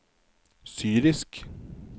syrisk